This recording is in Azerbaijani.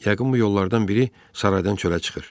Yəqin bu yollardan biri saraydan çölə çıxır.